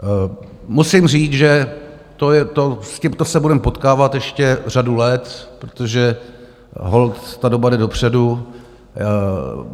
Musím říct, že s tímto se budeme potkávat ještě řadu let, protože holt ta doba jde dopředu.